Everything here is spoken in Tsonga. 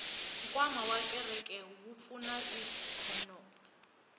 nkwama wa kereke wu pfuna ikhonomi